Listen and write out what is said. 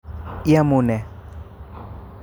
Iamune?